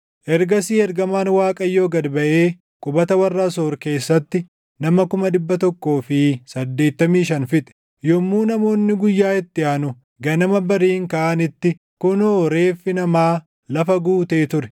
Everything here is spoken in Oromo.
Ergasii ergamaan Waaqayyoo gad baʼee qubata warra Asoor keessatti nama kuma dhibba tokkoo fi saddeettamii shan fixe. Yommuu namoonni guyyaa itti aanu ganama bariin kaʼanitti kunoo reeffi namaa lafa guutee ture.